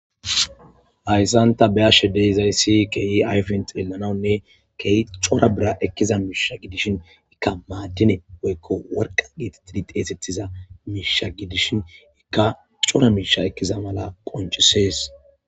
Hayssanta be ashe deizay siy keyi ayfen xelanawunne key cora bira ekkiza miisha gidishin ikka maaddine weykko worqa geeti tidi teesettiza miisha gidishin ikka cora miisha ekkiza mala qoncisees.